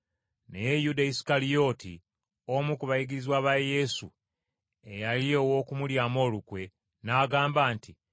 Naye Yuda Isukalyoti, omu ku bayigirizwa ba Yesu, eyali ow’okumulyamu olukwe, n’agamba nti,